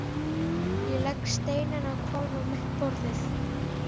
Ég legg steininn á hvolf á mitt borðið.